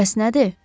Bəs nədir?